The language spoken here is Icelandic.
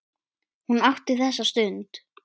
Hún átti þessa stund.